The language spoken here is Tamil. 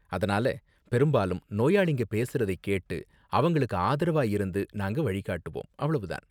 அதனால பெரும்பாலும் நோயாளிங்க பேசறதை கேட்டு அவங்களுக்கு ஆதரவா இருந்து நாங்க வழி காட்டுவோம், அவ்வளவு தான்.